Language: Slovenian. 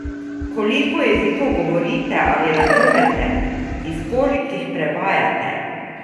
Koliko jezikov govorite ali razumete, iz kolikih prevajate?